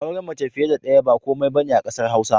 Auren mace fiye da ɗaya ba komai ba ne a ƙasar Hausa